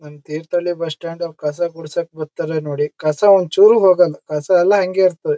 ನಮ್ Thirthahalli bus stand ಕಸ ಗೂಡ್ಸಕ್ಕೆ ಬರ್ತಾರೆ ನೋಡಿ ಕಸ ಒಂದ್ ಚೂರು ಹೋಗಲ್ಲ ಕಸ ಎಲ್ಲ ಹಂಗೆ ಇರ್ತವೆ.